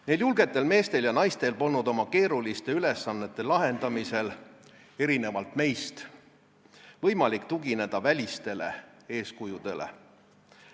Neil julgetel meestel ja naistel polnud võimalik – erinevalt meist – oma keeruliste ülesannete lahendamisel tugineda välistele eeskujudele.